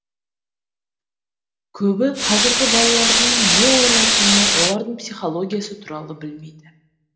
көбі қазіргі балалардың не ойлайтыны олардың психологиясы туралы білмейді